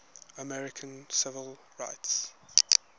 american civil rights